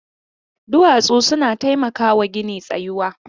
Duwatsu suna taimakawa gini tsayuwa.